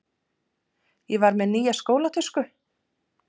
Ég var með nýja skólatösku.